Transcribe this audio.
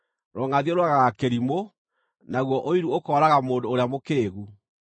Rũngʼathio rũũragaga kĩrimũ, naguo ũiru ũkooraga mũndũ ũrĩa mũkĩĩgu.